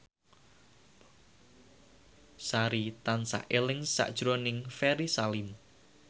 Sari tansah eling sakjroning Ferry Salim